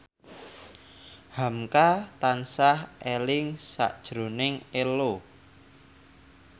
hamka tansah eling sakjroning Ello